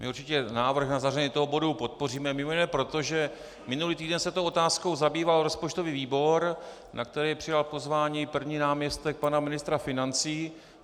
My určitě návrh na zařazení toho bodu podpoříme mimo jiné proto, že minulý týden se tou otázkou zabýval rozpočtový výbor, na který přijal pozvání první náměstek pana ministra financí.